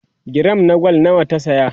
giram na gwal nawa ta saya?